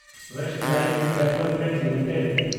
Westlife Development limited